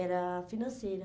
Era financeira.